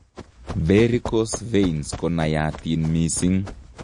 Varicose veins konaiyatin mising'